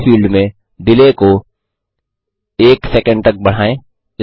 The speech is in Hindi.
डिले फील्ड में डिले को 10 एसईसी तक बढाएँ